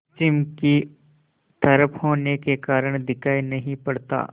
पश्चिम की तरफ होने के कारण दिखाई नहीं पड़ता